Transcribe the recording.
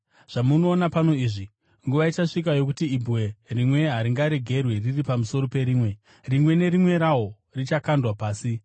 “Zvamuoona pano izvi, nguva ichasvika yokuti ibwe rimwe haringaregwi riri pamusoro perimwe; rimwe nerimwe rawo richakandwa pasi.”